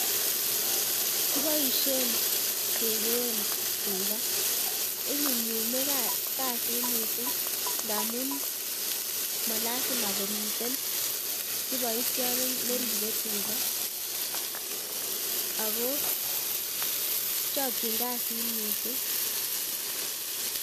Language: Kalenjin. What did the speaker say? Kiboishen kekeen tukaa, inyumnyume kasit mising ndamun malasima komiten kiboityot neribe tukaa ak ko chokyin kasit mising.